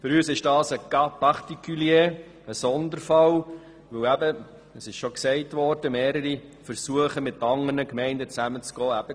Für uns ist das ein Sonderfall, weil mehrere Versuche gescheitert sind, mit anderen Gemeinden zusammenzuspannen.